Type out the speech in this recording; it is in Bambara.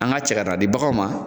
An ga cɛ ka di baganw ma